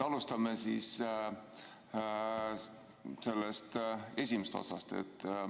Alustame sellest esimesest otsast.